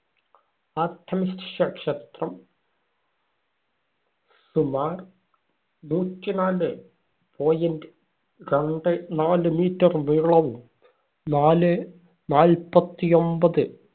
Artemis ക്ഷ ക്ഷേത്രം സുമാർ നൂറ്റിനാലേ point രണ്ടേ നാല് meter നീളവും, നാല് നാല്‍പ്പത്തിയൊമ്പത്